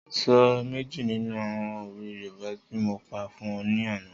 Sọ méjì nínú àwọn òwe yoòbá ti mo pa fún ọ ní àná